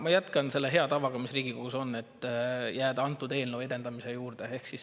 Ma jätkan selle hea tavaga, mis Riigikogus on, et jääda antud eelnõu juurde.